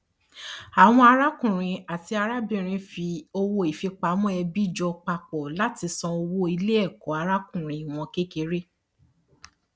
àwọn arákùnrin àti arábìnrin fi owó ìfipamọ ẹbí jọ papọ láti san owó iléẹkọ arákùnrin wọn kékeré